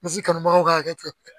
Misi kanubagaw ka hakɛ to